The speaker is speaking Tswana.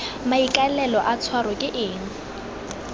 maikaelelo a tshwaro ke eng